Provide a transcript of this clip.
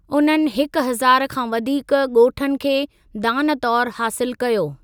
उन्हनि हिकु हज़ार खां वधीक गो॒ठनि खे दान तौरु हासिलु कयो।